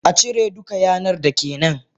Acire duka yanar dake nan!